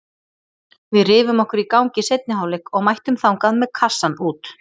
Við rifum okkur í gang í seinni hálfleik og mættum þangað með kassann út.